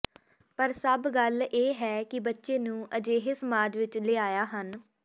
ਪਰ ਸਭ ਗੱਲ ਇਹ ਹੈ ਕਿ ਬੱਚੇ ਨੂੰ ਅਜਿਹੇ ਸਮਾਜ ਵਿਚ ਲਿਆਇਆ ਹਨ